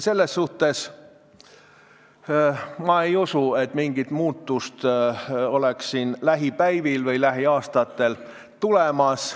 Selles suhtes ei usu ma, et siin oleks mingit muutust lähipäevil või lähiaastatel tulemas.